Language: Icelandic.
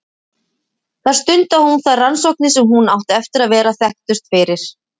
Þar stundaði hún þær rannsóknir sem hún átti eftir að vera þekktust fyrir.